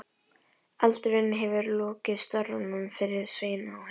Eldurinn hefur lokið störfum fyrir Svein á heiðinni.